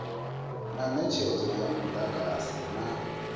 na netshedzo ya mudagasi na